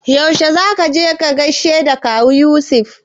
Yaushe za ka gaishe da Kawu Yusuf?